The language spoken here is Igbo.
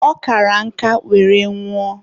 ọ kara nka were nwụọ.